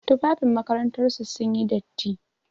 Tufafin makarantar su sun yi datti.